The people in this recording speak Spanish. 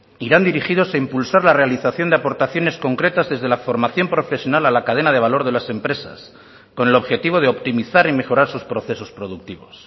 irán dirigidos a impulsar la realización de aportaciones concretas desde la formación profesional a la cadena de valor de las empresas con el objetivo de optimizar y mejorar sus procesos productivos